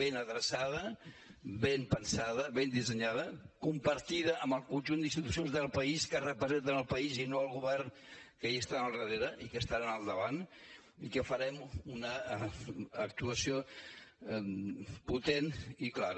ben adreçada ben pensada ben dissenyada compartida amb el conjunt d’institucions del país que representen el país i no el govern que hi estan al darrere i que hi estaran al davant i que farem una actuació potent i clara